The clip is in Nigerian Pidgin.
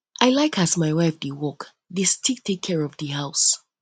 i like as my um wife dey work dey still take care of di house